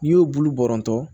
N'i y'u bulu bɔrɔntɔ